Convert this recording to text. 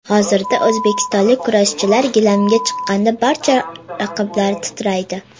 Hozirda o‘zbekistonlik kurashchilar gilamga chiqqanda barcha raqiblar titraydi.